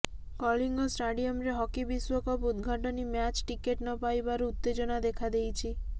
କଳିଙ୍ଗ ଷ୍ଟାଡିୟମରେ ହକି ବିଶ୍ୱକପ୍ ଉଦଘାଟନି ମ୍ୟାଚ ଟିକେଟ୍ ନପାଇବାରୁ ଉତେଜନା ଦେଖାଦେଇଛି